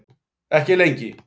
Ekki lengi.